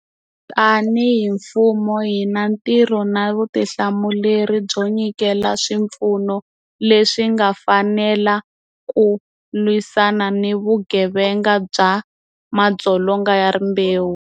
Tanihi mfumo, hi ni ntirho na vutihlamuleri byo nyikela swipfuno leswi nga fanela ku lwisana ni vugevenga bya madzolonga ya rimbewu.